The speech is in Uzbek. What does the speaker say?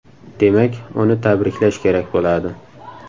Demak, uni tabriklash kerak bo‘ladi”.